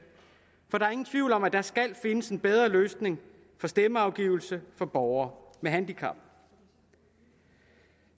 for der er ingen tvivl om at der skal findes en bedre løsning på stemmeafgivelse for borgere med handicap